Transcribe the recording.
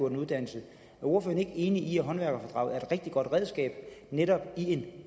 en uddannelse er ordføreren ikke enig i at håndværkerfradraget er et rigtig godt redskab netop i en